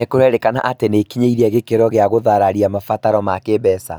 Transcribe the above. nĩkũrerĩkana atĩ nĩikinyĩire gĩkĩro gĩa gũthararia mabataro ma kĩĩmbeca